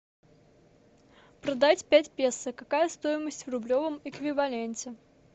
продать пять песо какая стоимость в рублевом эквиваленте